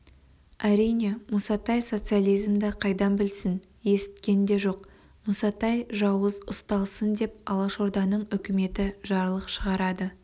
әрине мұсатай социализмді қайдан білсін есіткен де жоқ мұсатай жауыз ұсталсын деп алашорданың үкіметі жарлық шығарады